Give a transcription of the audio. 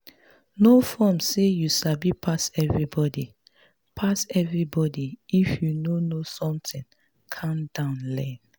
no form sey you sabi pass everybody pass everybody if you no know something calm down learn